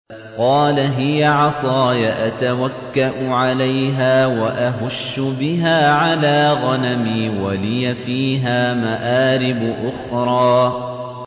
قَالَ هِيَ عَصَايَ أَتَوَكَّأُ عَلَيْهَا وَأَهُشُّ بِهَا عَلَىٰ غَنَمِي وَلِيَ فِيهَا مَآرِبُ أُخْرَىٰ